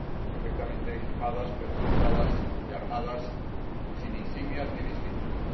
perfectamente equipadas, pertrechadas y armadas, sin insignias ni distintivos.